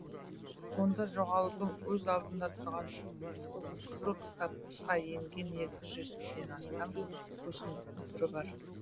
онда жоғалудың аз алдында тұрған қызыл кітапқа енген екі жүзден астам өсімдіктің түрі бар